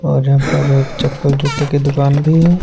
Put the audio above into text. और यहाँ पर चप्पल जूते की दुकान भी है।